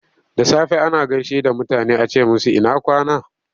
Da safe ana gaishe da mutane a ce musu ina kwana?